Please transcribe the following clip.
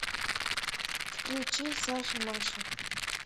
включи саша маша